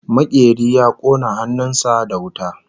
Makeri ya kona hannun sa da wuta